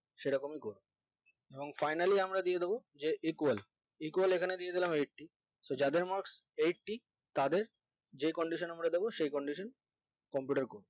সেরকমই করে এবং finally আমরা দিয়ে দিবো যে equal equal এখানে দিয়ে দিলাম so যাদের eighty তাদের যে condition আমরা দেবো সে conditioncomputer করবে